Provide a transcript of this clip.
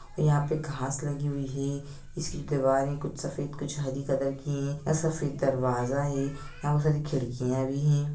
यहाँ पे घास लगी हुई है इसकी दीवारे कुछ सफेद कुछ हरी कलर की है यहाँ सफेद दरवाजा है यहाँ बहुत सारी खिड़किया भी हैं।